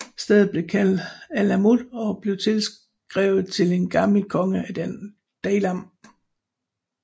Stedet blev kaldt Alamut og blev tilskrevet til en gammel konge af Daylam